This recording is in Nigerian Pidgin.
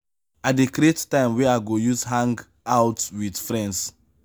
i dey create time wey i go use hang-out wit friends.